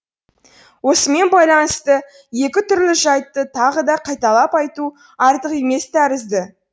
осымен байланысты екі түрлі жайтты тағы да қайталап айту артық емес тәрізді